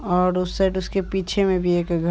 और उस साइड उसके पीछे में भी एक घर--